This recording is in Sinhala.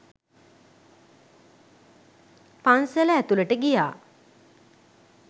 පන්සල ඇතුළට ගියා.